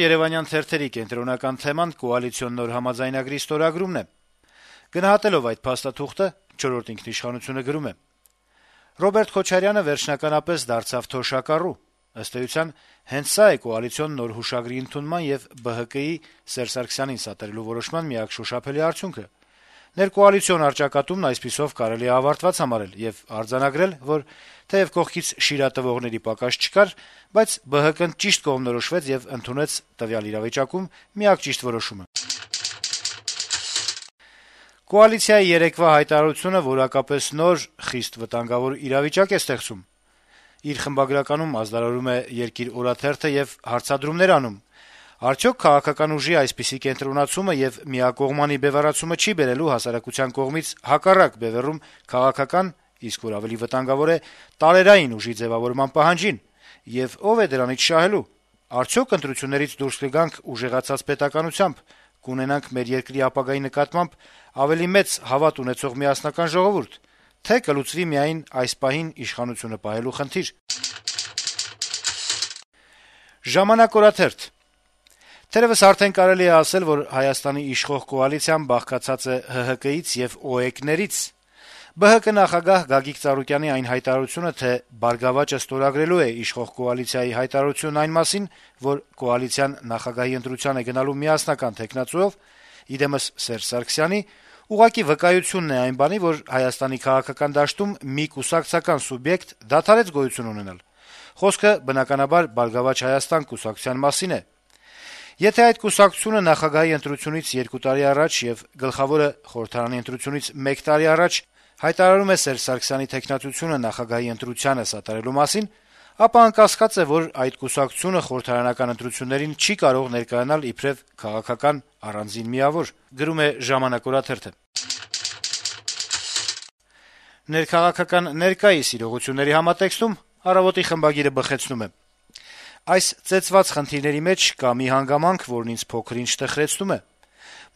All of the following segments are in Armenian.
Երեւանյան թերթերի հիմնական թեման կոալիցիոն նոր համաձայնագրի ստորագրումն է: Գնահատելով այդ փաստաթուղթը` «Չորրորդ ինքնիշխանություն»-ը գրում է. - «Ռոբերտ Քոչարյանը վերջնականապես դարձավ թոշակառու: Ըստ էության` հենց սա է կոալիցիոն նոր հուշագրի ընդունման եւ ԲՀԿ-ի` Սերժ Սարգսյանին սատարելու որոշման միակ շոշափելի արդյունքը: Ներկոալիցիոն առճակատումն այսպիսով կարելի է ավարտված համարել եւ արձանագրել, որ թեեւ կողքից «շիրա տվողների» պակաս չկար, բայց ԲՀԿ-ն ճիշտ կողմնորոշվեց եւ ընդունեց տվյալ իրավիճակում միակ ճիշտ որոշումը»: «Կոալիցիայի երեկվա հայտարարությունը որակապես նոր, խիստ վտանգավոր իրավիճակ է ստեղծում», - իր խմբագրականում գրում է «Երկիր» օրաթերթը եւ հարցադրումներ անում. - «Արդյո՞ք քաղաքական ուժի այսպիսի կենտրոնացումը եւ միակողմանի բեւեռացումը չի բերելու հասարակության կողմից հակառակ բեւեռում քաղաքական, իսկ որ ավելի վտանգավոր է տարերային ուժի ձեւավորման պահանջին: Եվ ո՞վ է դրանից շահելու: Արդյո՞ք ընտրություններից դուրս կգանք ուժեղացած պետականությամբ, կունենանք մեր երկրի ապագայի նկատմամբ ավելի մեծ հավատ ունեցող, միասնական ժողովուրդ, թե կլուծվի՞ միայն այս պահին իշխանությունը պահելու խնդիրը»: «Ժամանակ»-ը գրում է. - «Թերեւս արդեն կարելի է ասել, որ Հայաստանի իշխող կոալիցիան բաղկացած է ՀՀԿ-ից եւ ՕԵԿ-ներից: ԲՀԿ նախագահ Գագիկ Ծառուկյանի այն հայտարարությունը, թե «Բարգավաճը» ստորագրելու է իշխող կոալիցիայի հայտարարությունն այն մասին, որ կոալիցիան նախագահի ընտրության է գնալու միասնական թեկնածուով` ի դեմս Սերժ Սարգսյանի, ուղղակի վկայությունն է այն բանի, որ Հայաստանի քաղաքական դաշտում մի կուսակցական սուբյեկտ դադարեց գոյություն ունենալ: Խոսքը, բնականաբար, «Բարգավաճ Հայաստան» կուսակցության մասին է: Եթե այդ կուսակցությունը նախագահի ընտրությունից երկու տարի առաջ, եւ գլխավորը` խորհրդարանի ընտրությունից մեկ տարի առաջ հայտարարում է Սերժ Սարգսյանի թեկնածությունը նախագահի ընտրությանը սատարելու մասին, ապա անկասկած է, որ այդ կուսակցությունը խորհրդարանական ընտրություններին չի կարող ներկայանալ իբրեւ քաղաքական առանձին միավոր»: «Առավոտ»-ի խմբագիրը գրում է ներքաղաքական ներկայիս իրողությունների վերաբերյալ. - «Այս ծեծված խնդրի մեջ կա մի հանգամանք, որն ինձ փոքր-ինչ տխրեցնում է: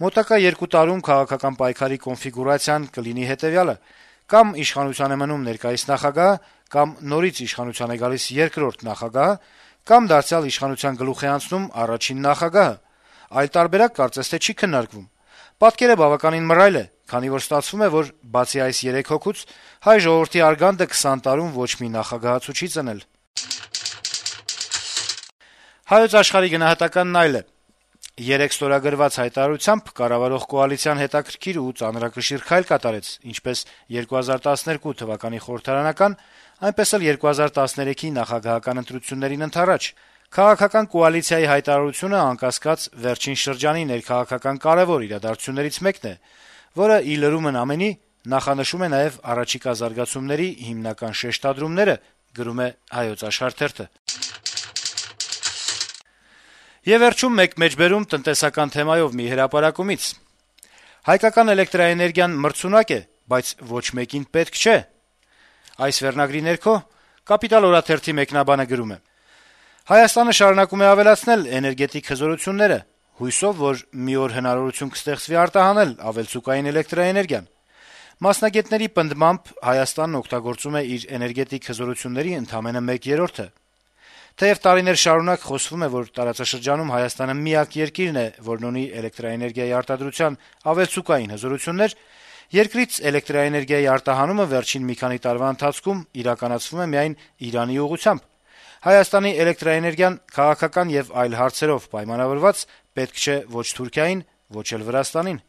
Մոտակա երկու տարում «քաղաքական պայքարի» կոնֆիգուրացիան կլինի հետեւյալը` կամ իշխանության է մնում ներկայիս նախագահը, կամ նորից իշխանության է գալիս երկրորդ նախագահը, կամ դարձյալ իշխանության գլուխ է անցնում առաջին նախագահը: Այլ տարբերակ, կարծես թե, չի քննարկվում: Պատկերը բավականին մռայլ է, քանի որ ստացվում է, որ բացի այս երեք հոգուց, հայ ժողովրդի արգանդը 20 տարում ոչ մի նախագահացու չի ծնել»: «Հայոց աշխարհ»-ը գրում է. - «Երեկ ստորագրված հայտարարությամբ կառավարող կոալիցիան հետաքրքիր ու ծանրակշիռ քայլ կատարեց ինչպես 2012 թվականի խորհրդարանական, այնպես էլ 2013-ի նախագահական ընտրություններին ընդառաջ։ «Քաղաքական կոալիցիայի հայտարարությունը», անկասկած, վերջին շրջանի ներքաղաքական կարեւոր իրադարձություններից մեկն է, որը, ի լրումն ամենի, նախանշում է նաեւ առաջիկա զարգացումների հիմնական շեշտադրումները»։ «Կապիտալ» օրաթերթի մեկնաբանը «Հայկական էլեկտրաէներգիան մրցունակ է, բայց ոչ մեկին պետք չէ» վերնագրով տնտեսական վերլուծության մեջ գրում է. - «Հայաստանը շարունակում է ավելացնել էներգետիկ հզորությունները՝ հույսով, որ մի օր հնարավորություն կստեղծվի արտահանել ավելցուկային էլեկտրաէներգիան։ Մասնագետների պնդմամբ՝ Հայաստանն օգտագործում է իր էներգետիկ հզորությունների ընդամենը 1/3-ը։ Թեեւ տարիներ շարունակ խոսվում է, որ տարածաշրջանում Հայաստանը միակ երկիրն է, որն ունի էլեկտրաէներգիայի արտադրության ավելցուկային հզորություններ, երկրից էլեկտրաէներգիայի արտահանումը վերջին մի քանի տարվա ընթացքում իրականացվում է միայն Իրանի ուղղությամբ։ Հայաստանի էլեկտրաէներգիան, քաղաքական եւ այլ հարցերով պայմանավորված, պետք չէ ո՛չ Թուրքիային, ո՛չ էլ Վրաստանին»։